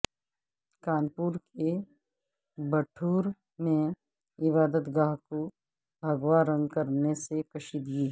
کانپور کے بٹھور میں عبادت گاہ کو بھگوا رنگ کرنے سے کشیدگی